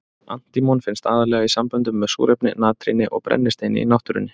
Antímon finnst aðallega í samböndum með súrefni, natríni og brennisteini í náttúrunni.